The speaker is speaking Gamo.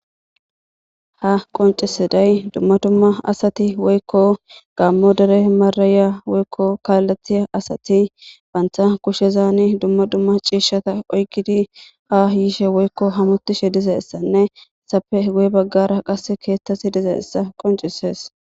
Ha qonccissidey dumma dumma asati woykko gaammo dere marrayiya woykko kaaleththiya asati banththa kushezaani dumma dumma ciishshata oykkidi haa yiishe woykko hamottishe dizeessanne ethappe guye baggaara keeththathi dizeessa qonccissees